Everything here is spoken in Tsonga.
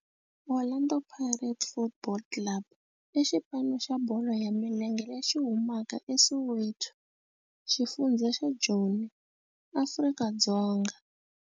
Orlando Pirates Football Club i xipano xa bolo ya milenge lexi humaka eSoweto, xifundzha xa Joni, Afrika-Dzonga.